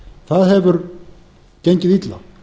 það hefur gengið illa